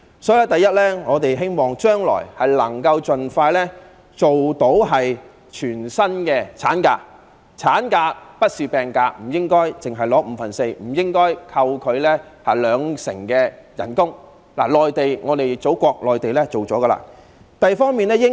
所以，第一，我們希望將來可以盡快落實全薪產假，產假並不是病假，不應只發放五分之四薪金，亦不應扣除兩成薪金，內地——我們的祖國——已推行這一方面的措施。